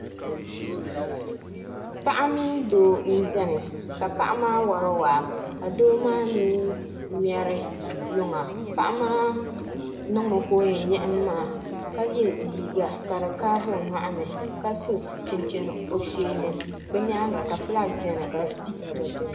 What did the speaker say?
Paɣa mini doo m-beni ka paɣa maa wari waa ka doo maa mi ŋmɛri luŋa paɣa maa niŋmi ka o yɛn yiɣimi maa ka ye liiga ka di kaavi o nyɔɣu ni ka so chinchini o shee ni bɛ nyaaŋa ka fulaki beni ka sipiika gba beni